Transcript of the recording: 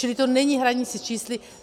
Čili to není hraní si s čísly.